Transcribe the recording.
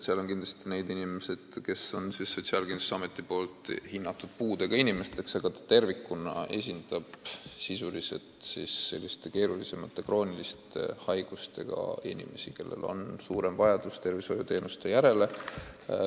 Seal on kindlasti neid inimesi, keda on Sotsiaalkindlustusamet hinnanud puudega inimeseks, aga koda tervikuna esindab sisuliselt keerulisemate krooniliste haigustega inimesi, kellel on suurem vajadus tervishoiuteenuste järele.